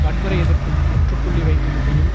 வன்முறை எதிர்ப்பிற்கு முற்றுப்புள்ளி வைக்கும் வகையில்